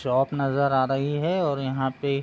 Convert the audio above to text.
shop नजर आ रही है और यहाँ पे --